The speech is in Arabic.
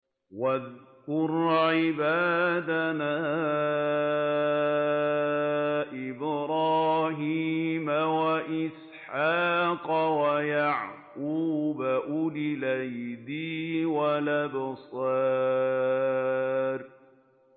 وَاذْكُرْ عِبَادَنَا إِبْرَاهِيمَ وَإِسْحَاقَ وَيَعْقُوبَ أُولِي الْأَيْدِي وَالْأَبْصَارِ